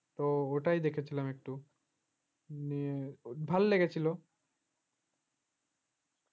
তো ওটাই দেখেছিলাম একটু নিয়ে ভালো লেগেছিল